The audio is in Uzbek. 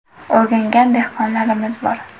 O‘rgangan dehqonlarimiz bor.